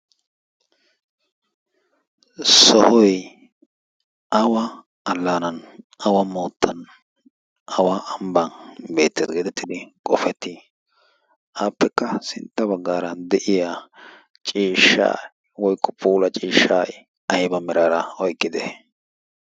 sohoy awa allaanan awa moottan awa ambban beettees geedettidi qofettii appekka sintta baggaara de'iya ciishshaa woyko puula ciishshay ayba miraara oyqqide?